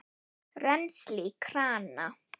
Rennsli í krana!